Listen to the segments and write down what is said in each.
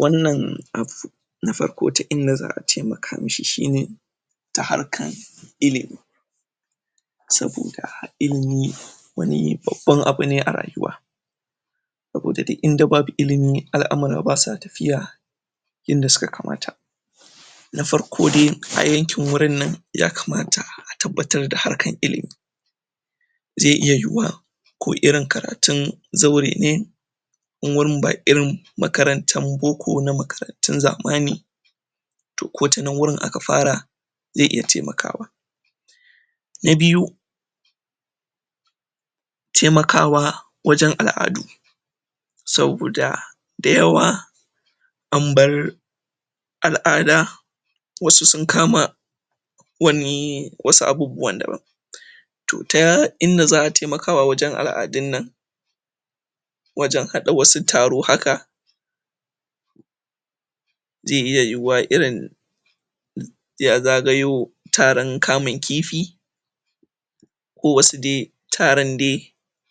Wannan na farko ta inda za'a taimaka ma shi shine ta harkan ilimi, saboda ilimi wani babban abu ne a rayuwa, saboda da inda babu ilimi al-amura ba sa tafiya yanda su ka kamata, na farko de a yankin wurinnan yakamata a tabbatar da harkan ilimi, ze iya yiwuwa ko irin karatun zaure ne, in wurin ba irin makarantan boko na makarantun zamani to ko ta nan wurin aka fara ze iya temakawa. Na biyu: Temakawa wajen al'adu saboda da yawa an bar al'ada wasu sun kama wani wasu abubuwan daban, to ta inda za'a temakawa wajen al'adinnan wajen haɗa wasu taro haka, ze iya yiwuwa irin ya zagayo taran kamun kifi ko wasu de taran de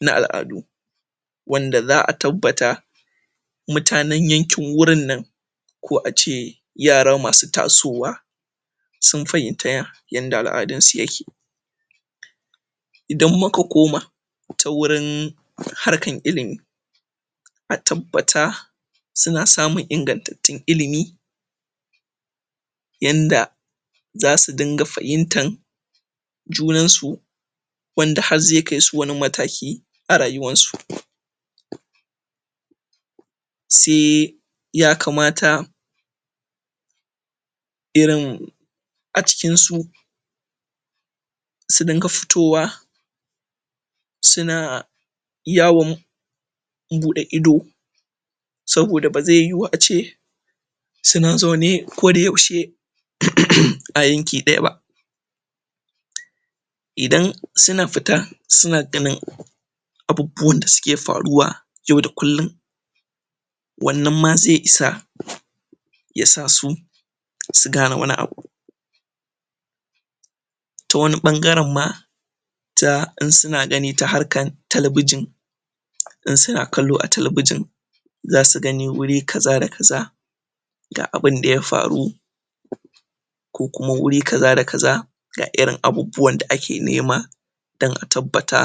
na al'adu, wanda za'a tabbata mutanen yankin wurinnan ko a ce yara ma su tasowa sun fahimta yanda al'adunsu ya ke, idan mu ka koma ta wurin harkan ilimi a tabbata su na samun ingantattun ilimi yanda za su dinga fahimtan junansu wanda hazze kai su wani mataki a rayuwansu. Se yakamata irin a cikin su su dinga futowa su na yawon buɗe ido, saboda ba ze yiwu a ce su na zaune kodayaushe um a yanki ɗaya ba, idan sina fita sina ganin abubbuwan da su ke faruwa yau da kullin wannan ma ze isa ya sa su su gane wani abu, ta wani ɓangaren ma ta in sina gani ta harkan talabijin in sina kallo a talabijin za su gani wuri kaza da kaza ga abinda ya faru ko kuma wuri kaza da kaza ga irin abubbuwan da ake nema dan a tabbata.